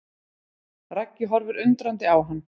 Raggi horfir undrandi á hann.